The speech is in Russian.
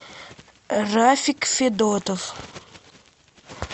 рафик федотов